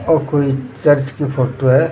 ओ कोई चर्च की फोटो है।